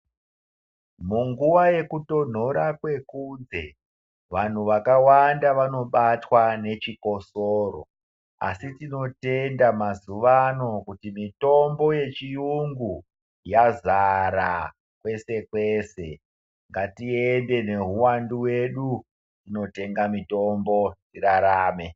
Munguva yeku tonhora kwe kunze vanhu vakawanda vanobatwa ne chikosoro asi tinotenda mazuva ano kuti mitombo ye chiyungu yazara kwese kwese ngatiiende ne uwandu hwedu tinotenga mitombo tirarame.